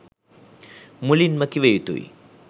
මුලින්ම කිව යුතු යි.